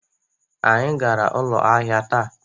Anyị gara ụlọ ahịa taa